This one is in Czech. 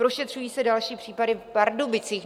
Prošetřuje se další případ v Pardubicích.